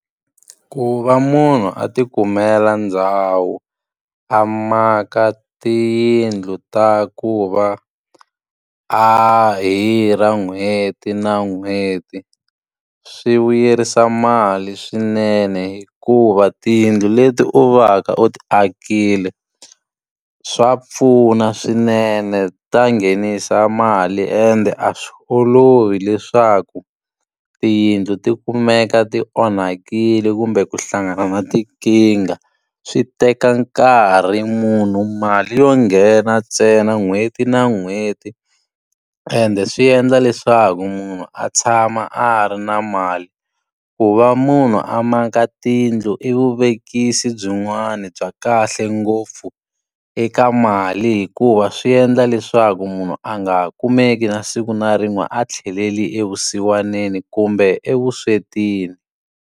Ku va munhu a ti kumela ndhawu a maka tiyindlu ta ku va a hirha n'hweti na n'hweti, swi vuyerisa mali swinene. Hikuva tiyindlu leti u va ka u ti akile, swa pfuna swinene, ta nghenisa mali, ende a swi olovi leswaku tiyindlu ti u kumeka ti onhakile kumbe ku hlangana na tinkingha, swi teka nkarhi. Munhu mali yo nghena ntsena n'hweti na n'hweti, ende swi endla leswaku munhu a tshama a ri na mali. Ku va munhu a maka tiyindlu i vuvekisi byin'wana bya kahle ngopfu eka mali, hikuva swi endla leswaku munhu a nga ha kumeki na siku na rin'we a tlhelele evusiwaneni kumbe evuswetini.